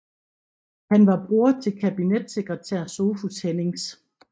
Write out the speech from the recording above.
Han var bror til kabinetssekretær Sophus Hennings